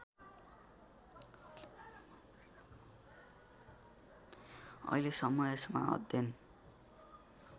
अहिलेसम्म यसमा अध्ययन